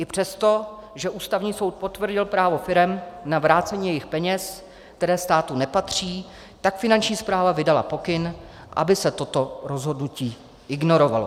I přesto, že Ústavní soud potvrdil právo firem na vrácení jejich peněz, které státu nepatří, tak Finanční správa vydala pokyn, aby se toto rozhodnutí ignorovalo.